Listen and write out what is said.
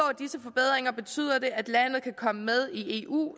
at disse forbedringer betyder at landet kan komme med i eu